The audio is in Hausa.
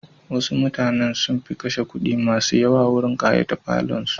Wasu mutanen sun fi kashe kudi masu yawa wurin kayata falonsu.